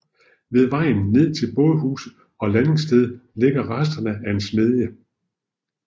Ved vejen ned til bådehus og landingssted ligger resterne af en smedje